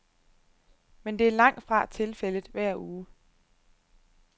Men det er langt fra tilfældet hver uge.